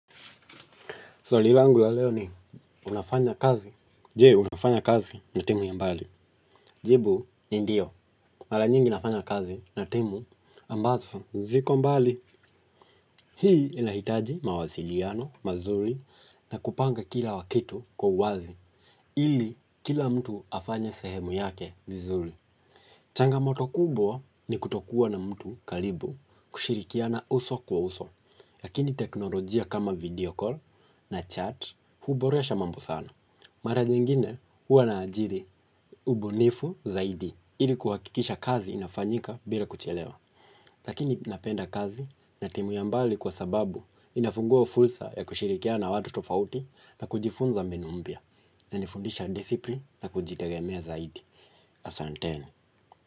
Swali langu la leo ni unafanya kazi. Je unafanya kazi na timu ya mbali. Jibu ni ndio. Mara nyingi nafanya kazi na timu ambazo ziko mbali. Hii inahitaji mawasiliano mazuri na kupanga kila kitu kwa uwazi ili kila mtu afanye sehemu yake vizuri. Changamoto kubwa ni kutokuwa na mtu karibu kushirikiana uso kwa uso, lakini teknolojia kama video call na chat huboresha mambo sana. Mara nyingine huwa naajiri ubunifu zaidi ili kuhakikisha kazi inafanyika bila kuchelewa. Lakini napenda kazi na timu ya mbali kwa sababu inafungua fursa ya kushirikiana na watu tofautina kunifunza mbinu mpya. Inanifundisha discipline na kujitegemea zaidi. Asanteni.